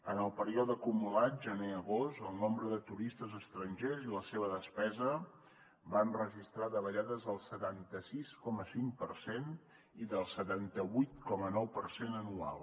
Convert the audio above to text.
en el període acumulat gener agost el nombre de turistes estrangers i la seva despesa van registrar davallades del setanta sis coma cinc per cent i del setanta vuit coma nou per cent anual